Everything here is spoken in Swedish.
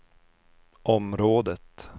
området